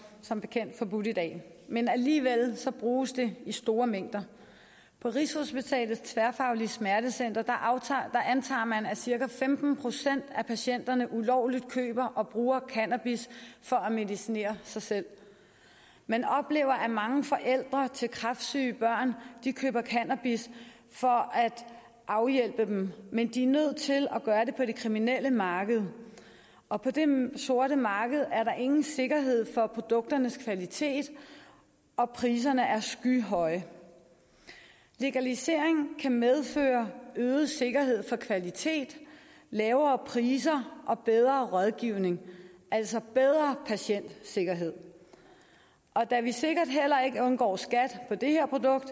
som bekendt forbudt i dag men alligevel bruges det i store mængder på rigshospitalets tværfaglige smertecenter antager man at cirka femten procent af patienterne ulovligt køber og bruger cannabis for at medicinere sig selv man oplever at mange forældre til kræftsyge børn køber cannabis for at hjælpe dem men de er nødt til at gøre det på det kriminelle marked og på det sorte marked er der ingen sikkerhed for produkternes kvalitet og priserne er skyhøje legalisering kan medføre øget sikkerhed for kvalitet lavere priser og bedre rådgivning altså bedre patientsikkerhed og da vi sikkert heller ikke undgår skat på det her produkt